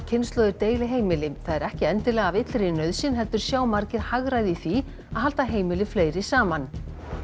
kynslóðir deili heimili það er ekki endilega af illri nauðsyn heldur sjá margir hagræði í því að halda heimili fleiri saman